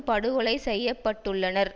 படுகொலை செய்ய பட்டுள்ளனர்